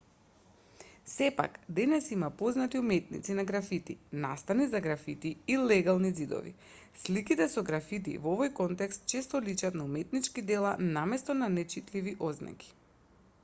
сепак денес има познати уметници на графити настани за графити и легални ѕидови сликите со графити во овој контекст често личат на уметнички дела наместо на нечитливи ознаки